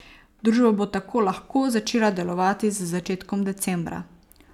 Družba bo tako lahko začela delovati z začetkom decembra.